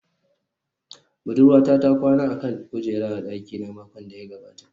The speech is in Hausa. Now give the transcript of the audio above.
Budurwata ta kwana a kan kujera a dakina makon da ya gabata